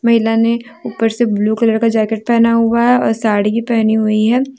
महिला ने ऊपर से ब्लू कलर का जैकेट पहना हुआ है और साड़ी भी पहनी हुई है।